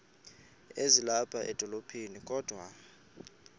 ezilapha edolophini kodwa